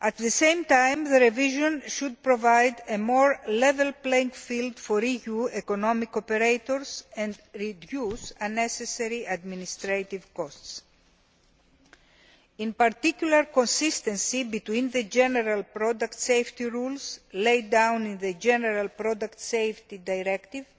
At the same time, the revision should provide a more level playing field for EU economic operators and reduce unnecessary administrative costs. In particular, consistency between the general product safety rules laid down in the General Product Safety Directive